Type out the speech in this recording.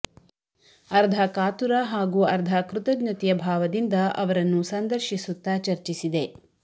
ಅರ್ಧ ಕಾತುರ ಹಾಗೂ ಅರ್ಧ ಕೃತಜ್ಞತೆಯ ಭಾವದಿಂದ ಅವರನ್ನು ಸಂದರ್ಶಿಸುತ್ತ ಚರ್ಚಿಸಿದೆ